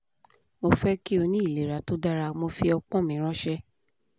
mo fẹ ki o ni ilera to dara mo fi ọpọn mi ranṣẹ